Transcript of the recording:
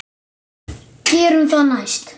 Gerum það næst.